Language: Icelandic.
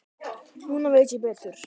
Núna veit ég betur.